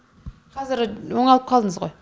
қазір оңалып қалдыңыз ғой